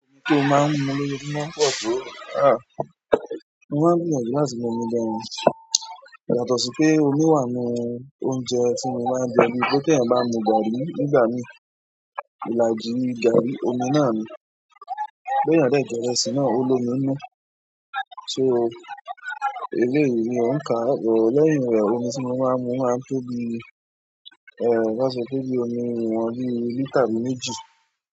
Ǹjẹ́ o máa ń mu omi lójoojúmọ́? Aá, mo máa ń gbinyanju láti mu omi gàn, yàtọ̀ sì pé omi wà nínú oúnjẹ tí mo máa ń jẹ ni wípé tí ẹ̀yan bá mu gari nígbà míì ilàjí gari omi náà ni, bí ẹ̀yan de jẹ ìrẹsì náà ó lo mí nú. So eléyìí ni ó ń ka lẹ́yìn rẹ̀ omi tí mo máa ń mu máa ń tó bí, ẹéh bá sọ tó bí omi ìwọ̀n bí lítà bi méjì.